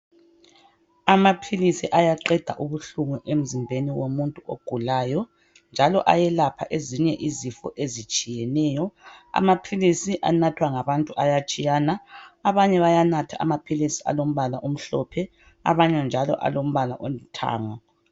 Amaphilisi ayaqeda ubuhlungu emzimbeni womuntu ogulayo .Njalo ayelapha ezinye izifo ezitshiyeneyo. Amaphilisi anathwa ngabantu ayatshiyana ,abanye bayanatha amaphilisi alombala omhlophe, abanye njalo alombala olithanga.